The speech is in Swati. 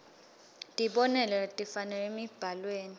tibonelo letifanele emibhalweni